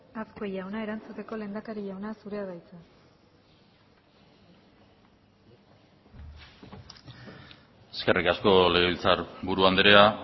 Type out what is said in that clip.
azkue jauna erantzuteko lehendakari jauna zurea da hitza eskerrik asko legebiltzarburu andrea